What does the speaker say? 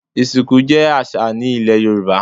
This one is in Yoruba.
Ìsìnkú jẹ́ àṣà ní ilẹ̀ Yorùbá.